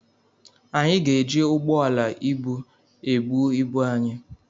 Anyị ga-eji ụgbọala ibu ebu ibu anyị.